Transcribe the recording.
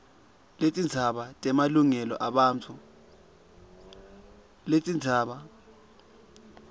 netindzaba temalungelo ebantfu